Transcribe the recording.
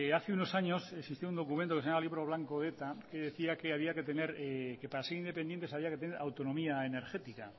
hace unos años existía un documento que se llamaba libro blanco de eta que decía que para ser independientes había que tener autonomía energética